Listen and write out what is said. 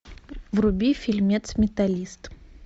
вруби фильмец металлист